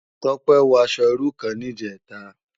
Tope wò aṣò irú kán nijètá